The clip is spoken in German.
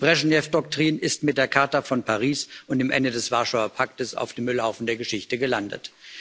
Die Breschnew Doktrin ist mit der Charta von Paris und dem Ende des Warschauer Paktes auf dem Müllhaufen der Geschichte gelandet.